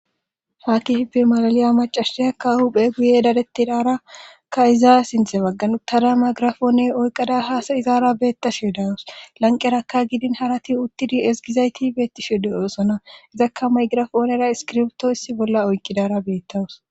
Ha kifipi malaliya macahshiyakka huphe guye dadettidarakka izaa sinthe bagganuttada maygirafoone oyqada haasa izaara beettashe dawus lanqerakka gidin harati uttidi esgizayti beettishe de'oossona izakka maygirafoonera iskirbtoissi bolla oykkidara beettawus